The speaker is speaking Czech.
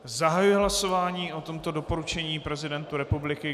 Zahajuji hlasování o tomto doporučení prezidentu republiky.